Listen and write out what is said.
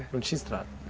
Não tinha estrada.